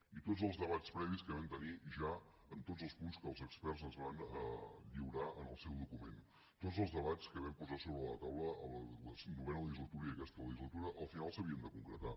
i tots els debats previs que vam tenir ja amb tots els punts que els experts ens van lliurar en el seu document tots els debats que vam posar sobre la taula en la novena legislatura i aquesta legislatura al final s’havien de concretar